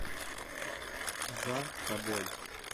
за тобой